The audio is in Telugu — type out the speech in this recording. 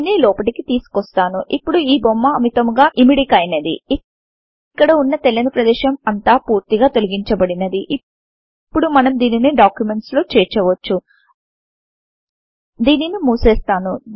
దీనిని లోపటికి తీసుకొస్తాను ఇప్పుడు ఈ బొమ్మ అమితముగా యిమిడికైనది ఇక్కడ వున్న తెల్లని ప్రదేశం అంత పూర్తిగా తొలగించబడినది ఇపుడు మనం దీనిని డాక్యుమెంట్స్ లో చేర్చవచ్చు దీనిని ముసేస్తాను